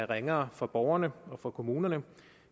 ringere for borgerne og for kommunerne